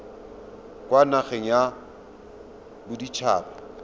kwa nageng ya bodit haba